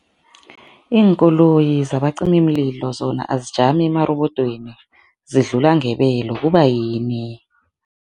Iinkoloyi zabacimimlilo zona azisajami emarobodweni zidlula ngebelo, kubayini?